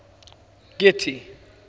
getty